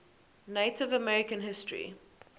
native american history